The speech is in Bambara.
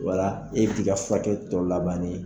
Wala e bi ti ka furakɛli tɔ laban ni